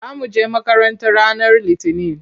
Za mu je makaranta ranar Litinin.